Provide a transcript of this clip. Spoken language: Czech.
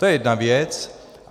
To je jedna věc.